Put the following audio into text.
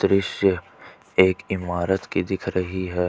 दृश्य एक इमारत की दिख रही है।